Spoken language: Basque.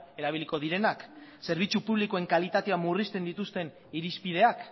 erabiliko direnak zerbitzu publikoen kalitatea murrizten dituzten irizpideak